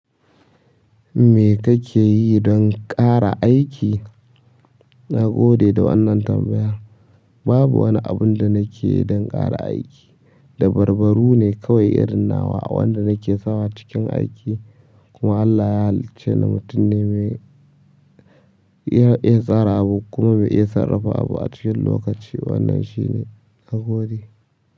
Me kake yi don ƙara aiki? Nagode da wannan tambaya. Babu wani abinda nakeyi don ƙara aiki. Dabarbaru ne kawai irin nawa a wanda nake sawa cikin aiki. Kuma Allah ya halicce ni mutum ne mai iya, iya tsara abu kuma mai iya sarrafa abu a cikin lokaci. Wannan shine nagode.